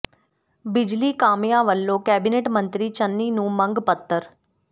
ਬਿਜਲੀ ਕਾਮਿਆਂ ਵੱਲੋਂ ਕੈਬਨਿਟ ਮੰਤਰੀ ਚੰਨੀ ਨੂੰ ਮੰਗ ਪੱਤਰ